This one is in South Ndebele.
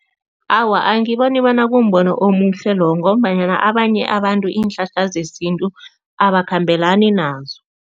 Awa, angiboni bona kumbono omuhle lo ngombanyana abanye abantu iinhlahla zesintu abakhambelani nazo.